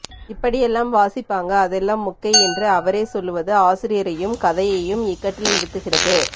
இப்படியெல்லாம் வாசிப்பாங்க அதெல்லாம் மொக்கை என்று அவரே சொல்வது ஆசிரியரையும் கதையையும் இக்கட்டில் நிறுத்துகிறது